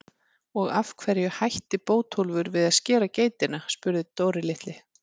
Og af hverju hætti Bótólfur við að skera geitina? spurði Dóri litli.